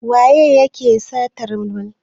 Waye yake satar bulallikan?